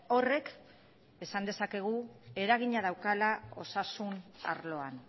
horrek esan dezakegu eragina daukala osasun arloan